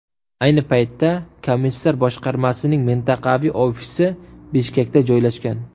Ayni paytda komissar boshqarmasining mintaqaviy ofisi Bishkekda joylashgan.